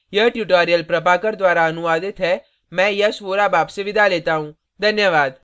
यह tutorial प्रभाकर द्वारा अनुवादित है मैं यश वोरा अब आपसे विदा लेता हूँ